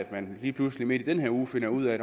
at man lige pludselig midt i den her uge finder ud af